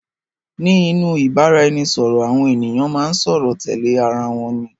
Ní inú ìbára ẹni sọ̀rọ̀, àwọn ènìyàn máa ń sọ̀rọ̀ tẹ́lẹ̀ ara wọn ní